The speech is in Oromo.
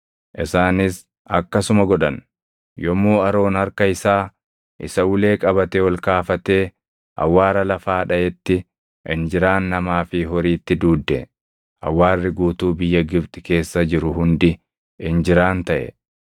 Isaanis akkasuma godhan. Yommuu Aroon harka isaa isa ulee qabate ol kaafatee awwaara lafaa dhaʼetti injiraan namaa fi horiitti duudde. Awwaarri guutuu biyya Gibxi keessa jiru hundi injiraan taʼe.